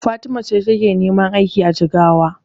Fatima ce take neman aiki a Jigawa.